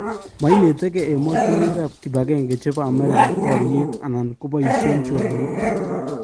mainetegee ematunwekap kipagenge chepo america pariet anan koppaisien choronok